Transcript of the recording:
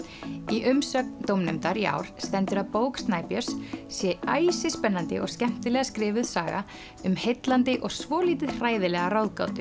í umsögn dómnefndar í ár stendur að bók Snæbjörns sé æsispennandi og skemmtilega skrifuð saga um heillandi og svolítið hræðilega ráðgátu